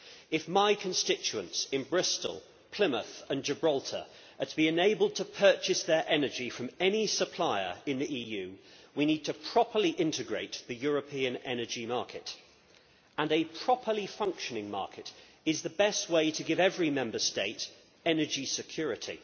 If my constituents in Bristol, Plymouth and Gibraltar are to be enabled to purchase their energy from any supplier in the EU, we need to properly integrate the European energy market, and a properly functioning market is the best way to give every Member State energy security.